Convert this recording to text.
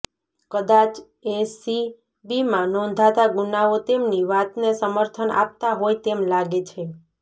કદાચ એસીબીમાં નોંધાતા ગુનાઓ તેમની વાતને સમર્થન આપતા હોય તેમ લાગે છે